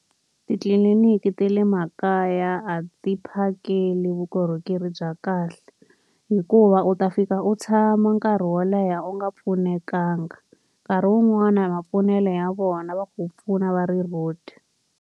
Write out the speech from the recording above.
Titliliniki ta le makaya a ti phakeli vukorhokeri bya kahle. Hikuva u ta fika u tshama nkarhi wo leha u nga pfunekanga, nkarhi wun'wani hi mapfunele ya vona va ku pfuna va ri rude.